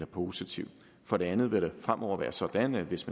positiv for det andet vil det fremover være sådan at hvis